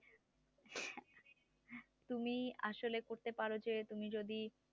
তুমি আসলে করতে পারো যে তুমি যদি